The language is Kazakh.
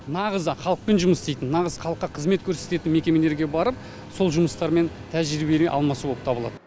нағыз халықпен жұмыс істейтін нағыз халыққа қызмет көрсететін мекемелерге барып сол жұмыстармен тәжірибемен алмасу боп табылады